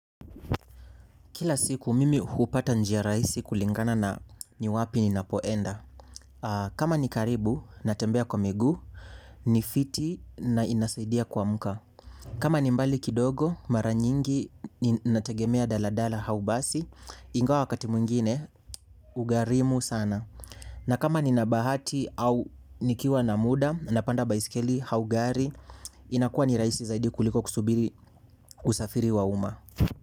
Kila siku mimi hupata njia rahisi kulingana na ni wapi ninapoenda. Kama ni karibu, natembea kwa miguu, ni fiti na inasaidia kuamka. Kama ni mbali kidogo, mara nyingi, nategemea daladala au basi, ingawa wakati mwingine, ugharimu sana. Na kama nina bahati au nikiwa na muda, napanda baskeli au gari, inakuwa ni rahisi zaidi kuliko kusubiri usafiri wa uma.